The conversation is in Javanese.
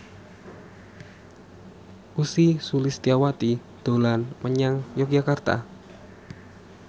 Ussy Sulistyawati dolan menyang Yogyakarta